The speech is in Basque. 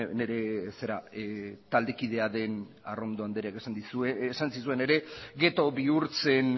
nire taldekidea den arrondo andreak esan zizuen ere gettho bihurtzen